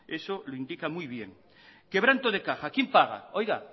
eso lo indica muy bien quebranto de caja quién paga oiga